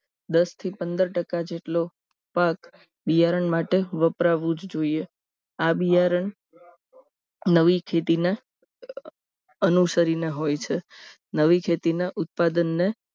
દસથી પંદર ટકા જેટલો પાક બિયારણ માટે વપરાવું જ જોઈએ આ બિયારણ નવી ખેતીના અનુસરીને હોય છે નવી ખેતીના ઉત્પાદનને